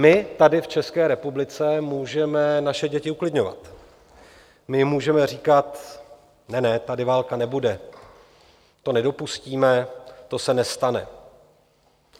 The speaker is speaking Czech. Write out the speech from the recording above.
My tady v České republice můžeme naše děti uklidňovat, my jim můžeme říkat: Ne, ne, tady válka nebude, to nedopustíme, to se nestane.